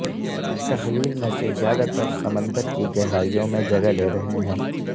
ان تحلیل میں سے زیادہ تر سمندر کی گہرائیوں میں جگہ لے رہے ہیں